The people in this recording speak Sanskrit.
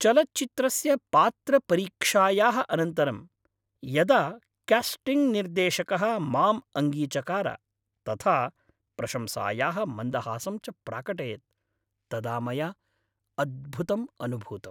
चलच्चित्रस्य पात्रपरीक्षायाः अनन्तरं यदा कास्टिङ्ग् निर्देशकः माम् अङ्गीचकार तथा प्रशंसायाः मन्दहासं च प्राकटयत् तदा मया अद्भुतम् अनुभूतम्।